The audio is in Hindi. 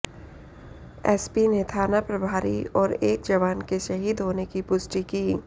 एसपी ने थाना प्रभारी और एक जवान के शहीद होने की पुष्टि की